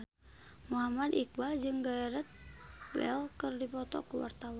Muhammad Iqbal jeung Gareth Bale keur dipoto ku wartawan